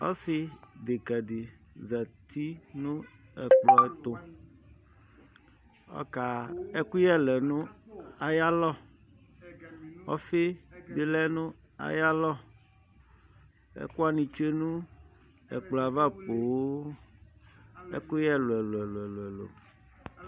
ɔsideka di zati nʋ ɛkplɔ tʋ ɔka ɛkʋyɛlɛ nʋ ayalɔ ɔƒiibi lɛ nʋ ayalɔ ɛkʋwani tsʋe nʋ ɛkplɔɛ ava poo ɛkʋyɛ ɛlʋ ɛlʋ ɛlʋʋ